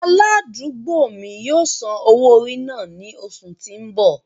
Aladugbo mi yóò san owo-ori náa ni oṣu ti n bọ.